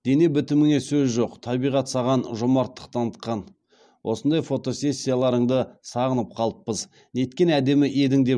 дене бітіміңе сөз жоқ табиғат саған жомарттық танытқан осындай фотосессияларыңды сағынып қалыппыз неткен әдемі едің